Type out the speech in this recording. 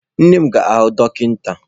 Nne m ga-ahụ dọkịta.